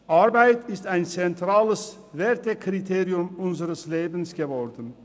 Arbeit ist ein zentrales Wertekriterium unseres Lebens geworden.